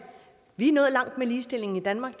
vi er nået langt med ligestillingen i danmark